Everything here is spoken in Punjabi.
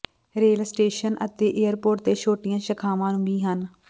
ਰੇਲ ਸਟੇਸ਼ਨ ਅਤੇ ਏਅਰਪੋਰਟ ਤੇ ਛੋਟੀਆਂ ਸ਼ਾਖਾਵਾਂ ਵੀ ਹਨ